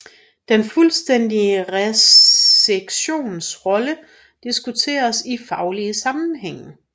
Den fuldstændige resektions rolle diskuteres i faglige sammenhænge